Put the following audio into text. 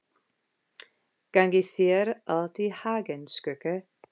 Gangi þér allt í haginn, Skugga.